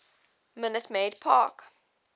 minute maid park